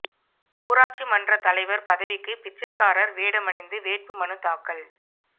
ஊராட்சி மன்றத் தலைவா் பதவிக்கு பிச்சைக்காரா் வேடமணிந்து வேட்பு மனு தாக்கல்